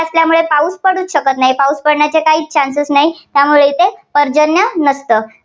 असल्यामुळे पाऊस पडूच शकत नाही. पाऊस पडण्याचे काहीच chances नाहीत, त्यामुळे येथे पर्जन्य नसतं.